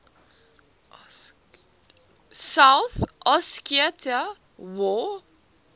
south ossetia war